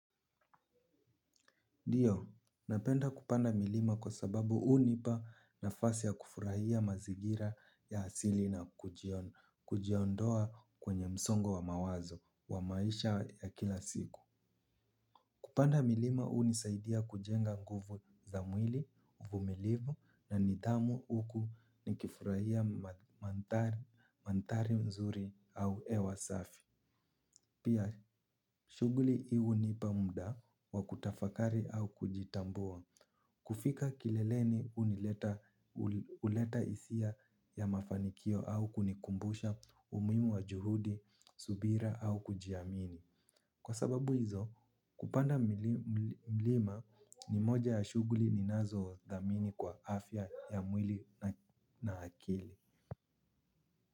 Ndio, napenda kupanda milima kwa sababu hunipa nafasi ya kufurahia mazingira ya asili na kujiondoa kwenye msongo wa mawazo wa maisha ya kila siku. Kupanda milima unisaidia kujenga nguvu za mwili, uvumilivu na nidhamu uku nikifurahia manthari mzuri au hewa safi. Pia shuguli hii hunipa mda wa kutafakari au kujitambua. Kufika kileleni uleta isia ya mafanikio au kunikumbusha umuhimu wa juhudi, subira au kujiamini. Kwa sababu hizo kupanda mlima ni moja ya shuguli ninazodhamini kwa afya ya mwili na akili.